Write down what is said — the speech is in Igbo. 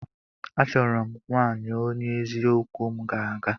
Achọrọ m nwaanyị onye eziokwu m ga-aga.